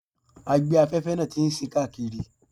Agbe-afẹ́fẹ́ náà ti sín káàkiri.